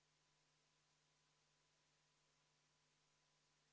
Muudatusettepanekute tabelis ei olnud välja toodud, et ei kuulu hääletamisele vastavalt seadusele.